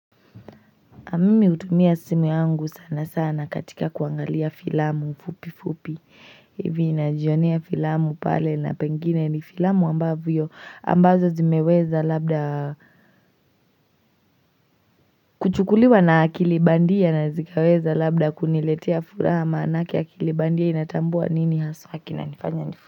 Mimi hutumia simu yangu sana sana katika kuangalia filamu fupi fupi. Hivi najionea filamu pale na pengine ni filamu ambavyo ambazo zimeweza labda kuchukuliwa na akili bandia zikaweza labda kuniletea furaha ama. Maanake akili bandia inatambua nini haswa kinanifanya ni.